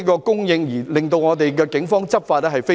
供應正常，令警方能夠順利執法。